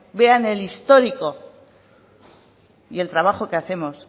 vean el histórico y el trabajo que hacemos